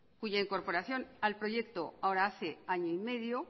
cuya incorporación al proyecto ahora hace año y medio